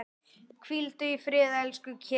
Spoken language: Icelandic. Hvíldu í friði, elsku Keli.